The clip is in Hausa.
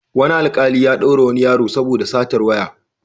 Wani alƙali ya ɗaure wani yaro saoda satar waya.